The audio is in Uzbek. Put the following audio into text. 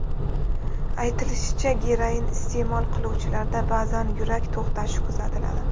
Aytilishicha, geroin iste’mol qiluvchilarda ba’zan yurak to‘xtashi kuzatiladi.